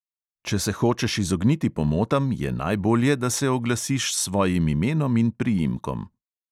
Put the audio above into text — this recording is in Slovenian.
Če se hočeš izogniti pomotam, je najbolje, da se oglasiš s svojim imenom in priimkom.